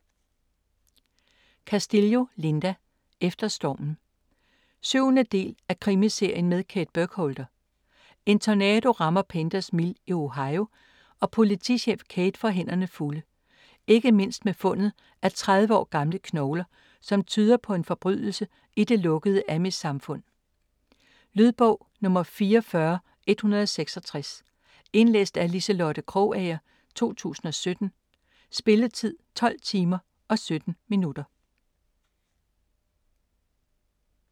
Castillo, Linda: Efter stormen 7. del af En Krimiserien med Kate Burkholder. En tornado rammer Painters Mill i Ohio, og politichef Kate får hænderne fulde. Ikke mindst med fundet af 30 år gamle knogler, som tyder på en forbrydelse i det lukkede amishsamfund. Lydbog 44166 Indlæst af Liselotte Krogager, 2017. Spilletid: 12 timer, 17 minutter.